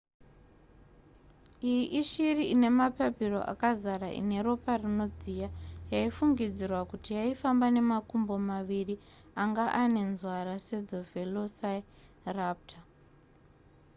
iyi ishiri ine mapapiro akazara ine ropa rinodziya yaifungidzirwa kuti yaifamba nemakumbo maviri anga anenzwara sedzevelociraptor